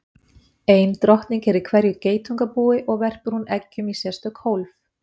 Ein drottning er í hverju geitungabúi og verpir hún eggjum í sérstök hólf.